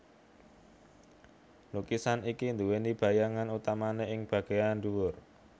Lukisan iki duweni bayangan utamane ing bageyan dhuwur